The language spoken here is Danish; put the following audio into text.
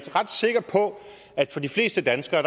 er ret sikker på at for de fleste danskere